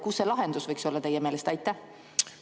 Kus see lahendus võiks teie meelest olla?